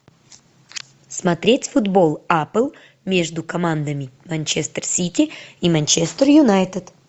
смотреть футбол апл между командами манчестер сити и манчестер юнайтед